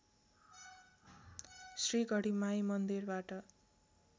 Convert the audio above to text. श्री गढीमाई मन्दिरबाट